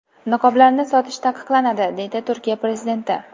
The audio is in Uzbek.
Niqoblarni sotish taqiqlanadi”, deydi Turkiya prezidenti.